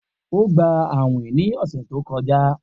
O gba awin ni ọsẹ to kọja